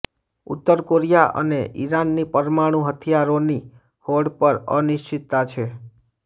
ઉત્તર કોરિયા અને ઇરાનની પરમાણુ હથિયારોની હોડ પર અનિશ્ચિતતા છે